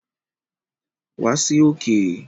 Wa sí òkè